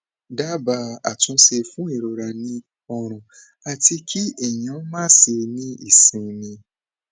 daba atunṣe fun irora ni ọrun ati ki eyan maṣe ni isinmi